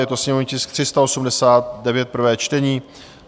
Je to sněmovní tisk 389, prvé čtení.